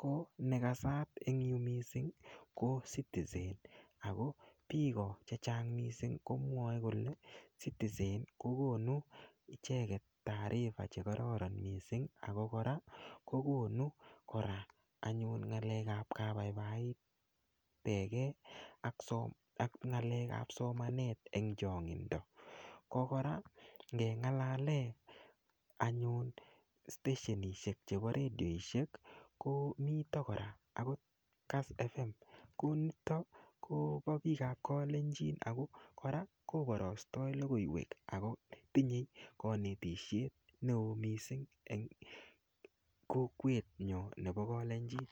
ko nekasart eng' yu mising' ko citizen ako biko chechang' komwoe kole citizen kokonu icheget taarifa chekororon mising' ako kora kokonu kora anyun ng'alekab kabaibaitegei ak ng'alekab somanet eng' chong'indo ko kora ngeng'alale anyun steshenishek chebo redioshek ko mito kora akot kass FM konito kobo biikab kalenjin ako kora kobarastoi lokoiwek ako tinyei kanetishet neo mising' eng' kokwenyo nebo kalenjin